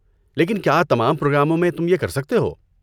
لیکن کیا تمام پروگراموں میں تم یہ کر سکتے ہو؟